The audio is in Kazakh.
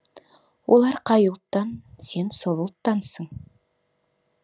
олар қай ұлттан сен сол ұлттансың